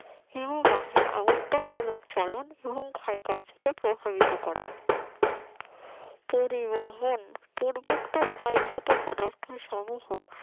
হিমবাহের আবর্তন মূলক ফলন হিমো ক্ষয় কার্যকে প্রভাবিত করে পরিবহন পূর্বোক্ত ক্ষয়জাত পদার্থ সমূহ